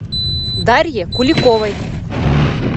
дарье куликовой